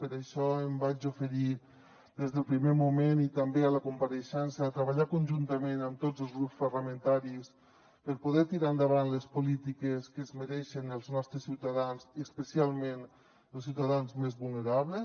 per això em vaig oferir des del primer moment i també a la compareixença a treballar conjuntament amb tots els grups parlamentaris per poder tirar endavant les polítiques que es mereixen els nostres ciutadans i especialment els ciutadans més vulnerables